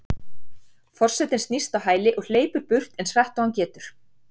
Forsetinn snýst á hæli og hleypur burt eins hratt og hann getur.